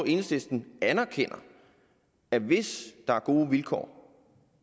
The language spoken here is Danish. enhedslisten anerkender at hvis der er gode vilkår